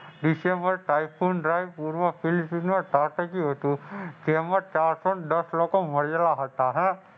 વિશે પણ પૂર ત્રાટક્યું હતું. તેમાં ચારસોને દસ લોકો માર્યા હતા હા